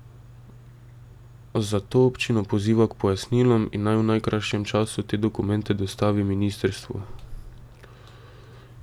Zato občino poziva k pojasnilom in naj v najkrajšem času te dokumente dostavi ministrstvu.